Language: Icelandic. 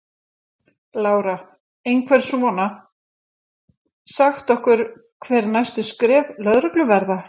Lára: Einhver svona, sagt okkur hver næstu skref lögreglu verða?